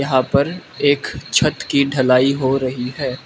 यहां पर एक छत की ढलाई हो रही है।